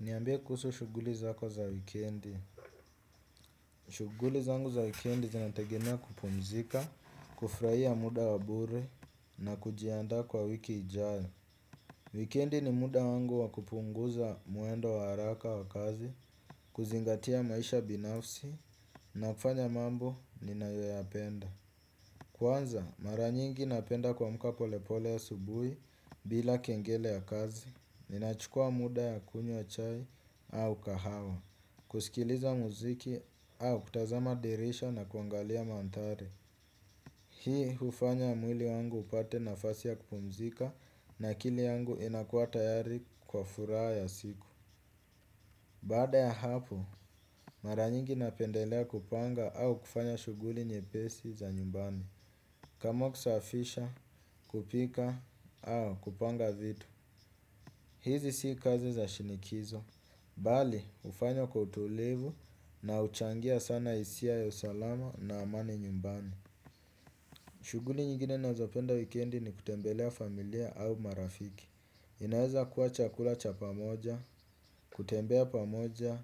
Niambie kuhusu shughuli zako za wikendi. Shughuli zangu za wikendi zinategemea kupumzika, kufurahia muda wa bure na kujiandaa kwa wiki ijayo. Wikendi ni muda wangu wa kupunguza mwendo wa haraka wa kazi, kuzingatia maisha binafsi na kufanya mambo ninayoyapenda. Kwanza, mara nyingi napenda kuamka polepole asubuhi bila kengele ya kazi. Ninachukua muda ya kunywa chai au kahawa kusikiliza muziki au kutazama dirisha na kuangalia mandhari. Hii hufanya mwili wangu upate nafasi ya kupumzika na akili yangu inakuwa tayari kwa furaha ya siku. Baada ya hapo, mara nyingi napendelea kupanga au kufanya shughuli nyepesi za nyumbani. Kama kusafisha kupika au kupanga vitu. Hizi si kazi za shinikizo. Bali hufanywa kwa utulivu na huchangia sana hisia ya usalama na amani nyumbani. Shughuli nyingine nazopenda wikendi ni kutembelea familia au marafiki. Inaweza kuwa chakula cha pamoja, kutembea pamoja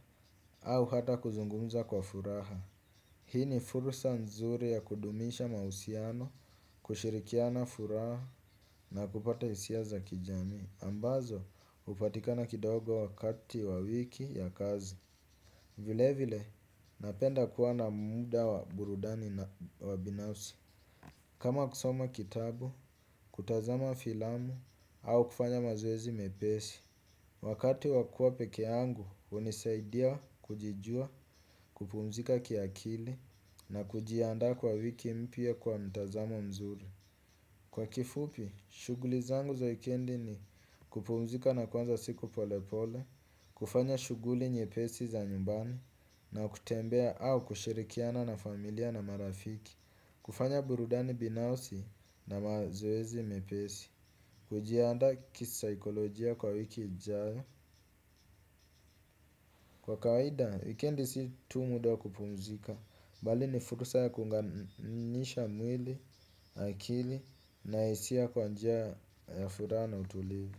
au hata kuzungumza kwa furaha. Hii ni fursa nzuri ya kudumisha mahusiano, kushirikiana furaha na kupata hisia za kijamii ambazo hupatikana kidogo wakati wa wiki ya kazi. Vile vile napenda kuwa na muda wa burudani na wa binafsi. Kama kusoma kitabu, kutazama filamu au kufanya mazoezi mepesi. Wakati wa kuwa pekee yangu hunisaidia kujijua kupumzika kiakili na kujiandaa kwa wiki mpya kwa mtazamo mzuri. Kwa kifupi, shughuli zangu za wikendi ni kupumzika na kuanza siku polepole. Kufanya shughuli nyepesi za nyumbani na kutembea au kushirikiana na familia na marafiki. Kufanya burudani binafsi na mazoezi mepesi. Kujiandaa kisaikolojia kwa wiki ijayo. Kwa kawaida, wikendi si tu muda wa kupumzika bali ni fursa ya kuunganisha mwili, akili na hisia kwa njia ya furaha na utulivu.